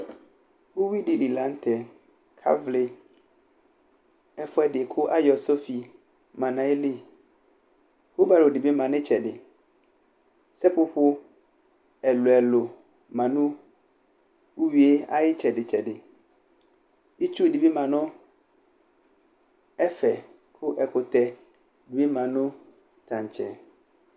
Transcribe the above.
Uyui dɩ li la nʋ tɛ kʋ avlɩ ɛfʋɛdɩ kʋ ayɔ sofi ma nʋ ayili ubalo dɩ bɩ ma nʋ ɩtsɛdɩ Sepopo ɛlʋ-ɛlʋ ma nʋ uyui yɛ ayʋ ɩtsɛdɩ-tsɛdɩ Itsu dɩ bɩ ma nʋ ɛfɛ kʋ ɛkʋtɛ bɩ ma nʋ taŋtsɛ